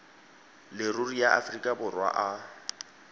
leruri ya aforika borwa a